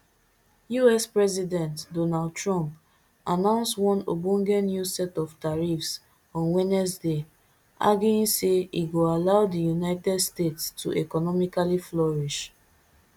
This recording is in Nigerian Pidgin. us president donald trump announce one ogbonge new set of tariffs on wednesday arguing say e go allow di united states to economically flourish